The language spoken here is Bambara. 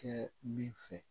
Kɛ min fɛ